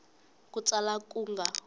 hi ku tsala ku nga